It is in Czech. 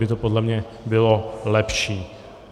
by to podle mě bylo lepší.